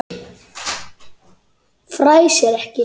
Fnæsir ekki.